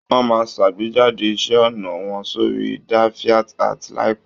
Wọ́n máa ṣàgbéjádè iṣẹ́ ọnà wọn sórí DevianArt láìpẹ̀.